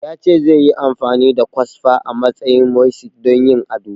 Ya ce zai yi amfani da kwasfa a matsayin mosaic don yin ado